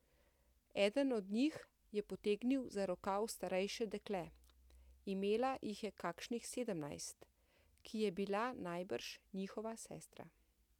Eden od njih je potegnil za rokav starejše dekle, imela jih je kakšnih sedemnajst, ki je bila najbrž njihova sestra.